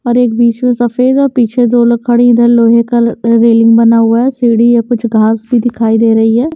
और एक बीच में सफेद और पीछे दो लोग खड़ी इधर लोहे का रेलिंग बना हुआ है सीढ़ी या कुछ घास भी दिखाई दे रही है।